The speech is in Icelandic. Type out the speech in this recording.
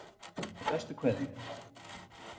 Með bestu kveðju